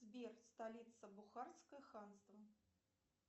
сбер столица бухарское ханство